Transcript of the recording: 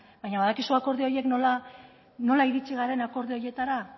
baina badakizu akordio horiek nola iritsi garen akordio horietara